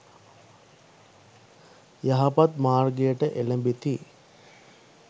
යහපත් මාර්ගයට එළැඹෙති.